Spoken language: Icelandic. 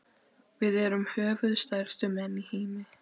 Við erum höfuðstærstu menn í heimi.